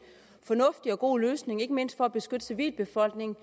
fornuftig og god løsning ikke mindst for at beskytte civilbefolkningen